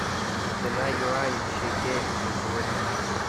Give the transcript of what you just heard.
цена юань шекель на сегодня